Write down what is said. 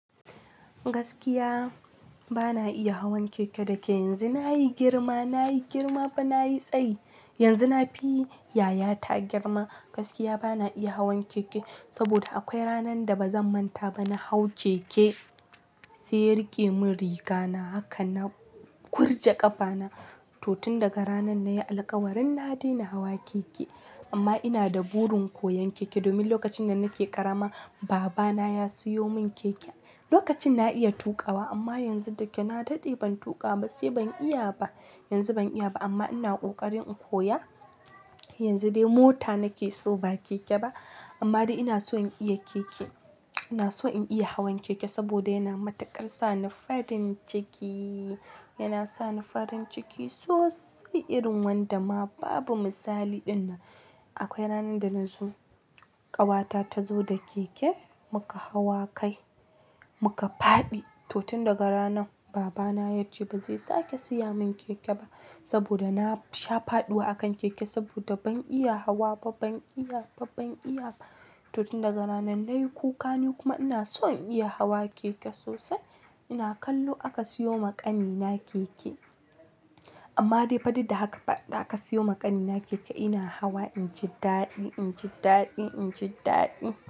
Gaskiya bana iya hawan keke da ke yanzu na yi girma, na yi girma fa na yi tsayi. Yanzu na fi yayata girma gaskiya bana iya hawan keke. Saboda akwai ranan da ba zan manta ba na hau keke sai ya rike mun rigana haka na kurje ƙafana. To tun daga ranan na yi alkawarin na daina hawa keke. Amma ina da burin koyan keke domin lokacin da nake ƙarama baba na ya siyo mun keke. Lokacin na iya tuƙa wa amma yanzu da ke na daɗe ban tuƙa ba sai ban iya ba. Yanzu ban iya ba amma ina ƙoƙarin in koya. Yanzu dai mota nake so ba keke ba. Amma dai ina so in iya keke, ina so in iya hawan keke saboda yana matukar sa ni farin ciki. Yana sa ni farin ciki sosai irin wanda ma babu misali dinnan. Akwai ranan da na zo, ƙawata ta zo da keke muka hawa kai muka faɗi. To tun daga ranan baba na ya ce ba zai sake siya mun keke ba saboda na sha faɗuwa a kan keke. Saboda ban iya hawa ba, ban iya ba, ban iya ba. To tun daga ranan na yi ƙuka ni kuma ina son in iya hawa keke sosai. Ina kallo aka siyo ma ƙani na keke. Amma dai fa duk da haka fa da aka siyo ma ƙani na keke ina hawa inji daɗi, inji daɗi, inji daɗi.